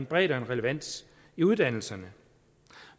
bredde og relevans i uddannelserne